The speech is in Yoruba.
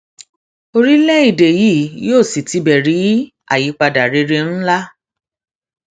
orílẹèdè yìí yóò sì tibẹ rí àyípadà rere ńlá